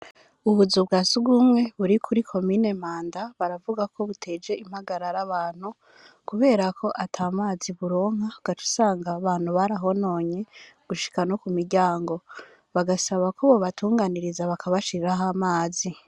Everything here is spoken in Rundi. Ubuzu bwa Sugumwe buri kuri kimine mpanda baravuga ko buteje impagarara abantu kubera ko atamazi buronka ugaca usanga abantu barahononye gushika no ku miryango bagasaba ko bobatunganiriza bakabashiriraho amazi